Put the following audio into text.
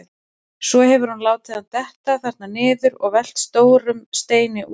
Svo hefur hún látið hann detta þarna niður og velt stórum steinum ofan á.